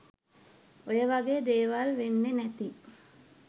ඔය වගේ දේවල් වෙන්නෙ නැති